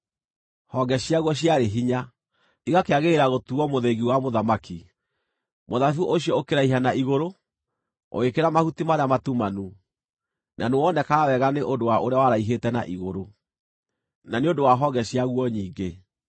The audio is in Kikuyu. Honge ciaguo ciarĩ hinya, igakĩagĩrĩra gũtuuo mũthĩgi wa mũthamaki. Mũthabibũ ũcio ũkĩraiha na igũrũ, ũgĩkĩra mahuti marĩa matumanu, na nĩwonekaga wega nĩ ũndũ wa ũrĩa waraihĩte na igũrũ, na nĩ ũndũ wa honge ciaguo nyingĩ.